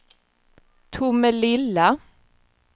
Tomelilla